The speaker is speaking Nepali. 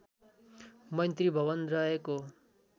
मैत्री भवन रहेको